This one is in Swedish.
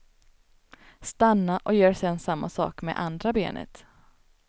Stanna och gör sen samma sak med andra benet.